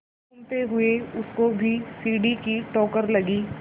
घूमते हुए उसको भी सीढ़ी की ठोकर लगी